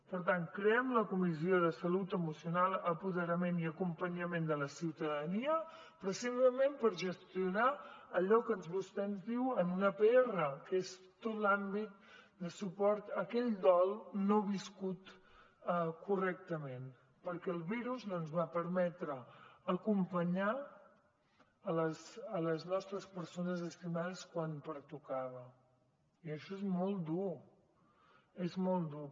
per tant creem la comissió de salut emocional apoderament i acompanyament de la ciutadania precisament per gestionar allò que vostè ens diu en una pr que és tot l’àmbit de suport a aquell dol no viscut correctament perquè el virus no ens va permetre acompanyar les nostres persones estimades quan pertocava i això és molt dur és molt dur